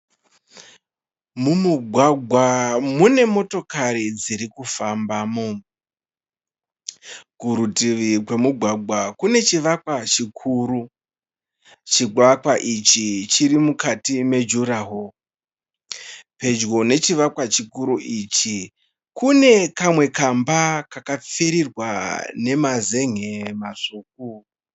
Mumugwagwa mune motokari dziri kufambamo. Kurutivi kwemugwagwa kune chivakwa chikuru. Chivakwa ichi chiri mukati mejuraho. Pedyo nechivakwa chikuru ichi kune kamwe kamba kakapfirirwa nemazen'e matsvuku.